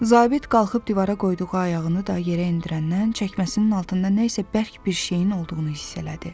Zabit qalxıb divara qoyduğu ayağını da yerə endirəndən çəkməsinin altında nə isə bərk bir şeyin olduğunu hiss elədi.